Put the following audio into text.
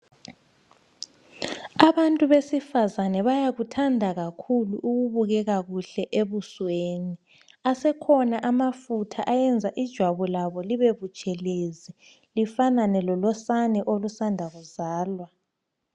Abantu besifazane bayakuthanda kakhulu ukubukeka kuhle ebusweni. Asekhona amafutha ayenza ijwabu labo libebutshelezi lifanane lolosana olusanda kuzalwa.